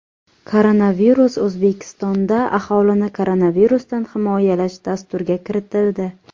Koronavirus O‘zbekistonda Aholini koronavirusdan himoyalash dasturga kiritildi.